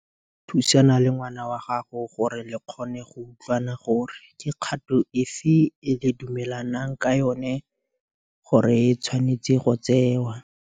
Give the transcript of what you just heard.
Thusana le ngwana wa gago gore le kgone go utlwana gore ke kgato e fe e le dumelanang ka yona gore e tshwanetse go tsewa.